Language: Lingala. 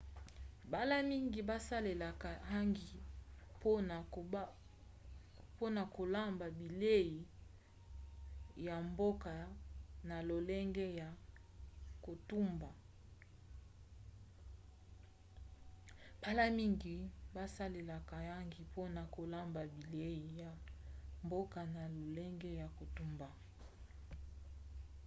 mbala mingi basalelaka hangi mpona kolamba bilei ya mboka na lolenge ya kotumba